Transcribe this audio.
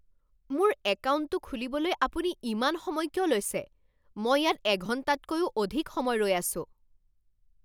মোৰ একাউণ্টটো খুলিবলৈ আপুনি ইমান সময় কিয় লৈছে? মই ইয়াত এঘণ্টাতকৈও অধিক সময় ৰৈ আছোঁ!